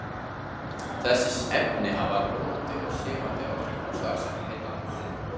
Þessi efni hafa róandi og sefandi áhrif á starfsemi heilans.